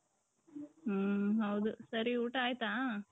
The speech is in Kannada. ಹ್ಮ್ ಹೌದು ಸರಿ ಊಟ ಆಯ್ತಾ .